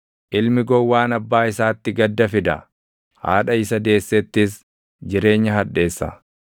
Ilmi gowwaan abbaa isaatti gadda fida; haadha isa deessettis jireenya hadheessa.